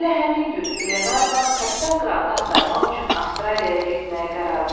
Elə həmin gün Qlenarvan kapitan Qrantı axtarmaq üçün Avstraliyaya getməyə qərar verdi.